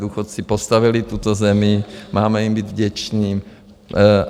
Důchodci postavili tuto zemi, máme jim být vděčni.